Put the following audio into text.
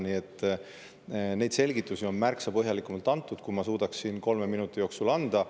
Nii et neid selgitusi on märksa põhjalikumalt antud, kui ma suudaksin kolme minuti jooksul anda.